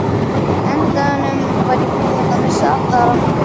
endanum var ég búinn að missa allar áttir.